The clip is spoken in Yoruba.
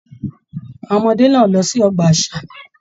Àwọn ọmọdé náà lọ sí ọgbà àṣà.